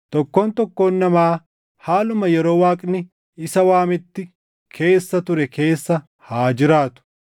Tokkoon tokkoon namaa haaluma yeroo Waaqni isa waametti keessa ture keessa haa jiraatu.